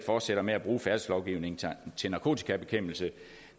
fortsætter med at bruge færdselslovgivningen til narkotikabekæmpelse